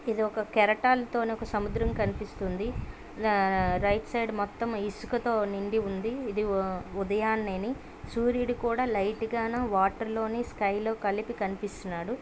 ఇది ఒక కెరటాలతోను ఒక సముద్రం కనిపిస్తూంది రైట్ సైడ్ మొత్తం ఈసుకతో నిండి ఉంది .ఇది ఉదయనేని సూర్యుడు కాడు లైటుగాను వాటర్ లోని స్కై లొ కలిపి కనిపిస్తునాడు .